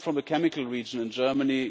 I come from a chemical region in Germany.